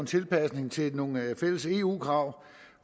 en tilpasning til nogle fælles eu krav